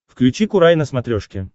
включи курай на смотрешке